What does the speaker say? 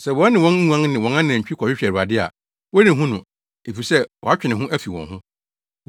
Sɛ wɔne wɔn nguan ne wɔn anantwi kɔhwehwɛ Awurade a Wɔrenhu no, efisɛ watwe ne ho afi wɔn ho.